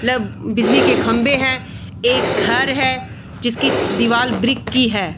बिजली की खम्बे है एक घर है जिसकी दीवाल ब्रिक की है।